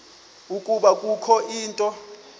ukuba kukho into